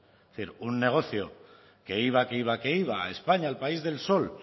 es decir un negocio que iba que iba que iba a españa al país del sol